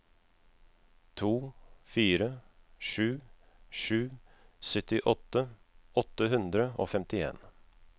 to fire sju sju syttiåtte åtte hundre og femtien